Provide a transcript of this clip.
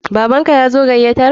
Baban ka yazo gayatar?